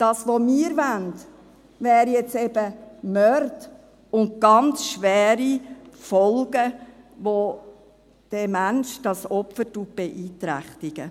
Das, was wir wollen, wäre jetzt eben bei Morden und ganz schweren Folgen, die diesen Menschen, das Opfer, beeinträchtigen.